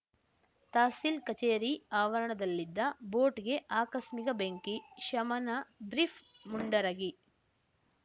ತಹಸೀಲ್‌ ಕಚೇರಿ ಆವರಣದಲ್ಲಿದ್ದ ಬೋಟ್‌ಗೆ ಆಕಸ್ಮಿಕ ಬೆಂಕಿ ಶಮನ ಬ್ರೀಫ್‌ ಮುಂಡರಗಿ